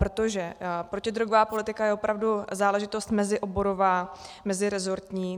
Protože protidrogová politika je opravdu záležitost mezioborová, meziresortní.